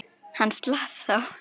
Hann slapp þá.